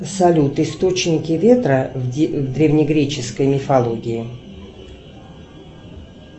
салют источники ветра в древнегреческой мифологии